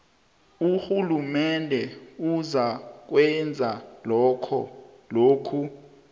urhulumende uzakwenza lokhu